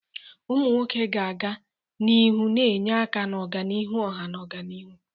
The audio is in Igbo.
Ụmụ nwoke ga-aga n'ihu na-enye aka n'ọganihu ọha na ọganihu.